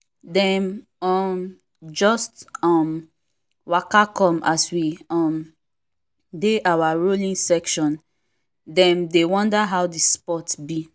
dem um just um waka come as we um dey our rowing session dem dey wonder how the sport be